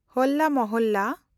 ᱦᱚᱞᱞᱟ ᱢᱚᱦᱚᱞᱞᱟ